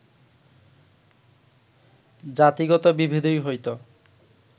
জাতিগত বিভেদই হয়ত